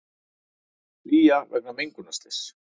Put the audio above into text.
Flýja vegna mengunarslyss